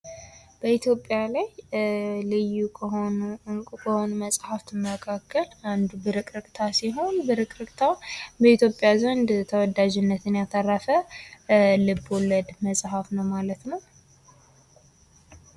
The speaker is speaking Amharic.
በኢትዮጵያ ላይ እንቁ መጽሐፎች ውስጥ አንዱ ብርቅርቅታ ሲሆን ብርቅርቅታ በህዝቡ ዘንድ የተወዳጅነትን ያተረፈ ልብ ወለድ መጽሐፍ ነው ማለት ነው።